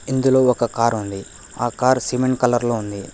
ఇందులో ఒక కార్ ఉంది ఆ కార్ సిమెంట్ కలర్ లో ఉంది.